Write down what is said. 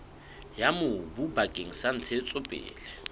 ya mobu bakeng sa ntshetsopele